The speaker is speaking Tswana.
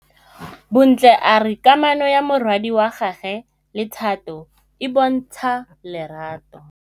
Bontle a re kamanô ya morwadi wa gagwe le Thato e bontsha lerato.